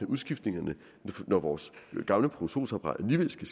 udskiftningerne når vores gamle produktionsapparat alligevel skal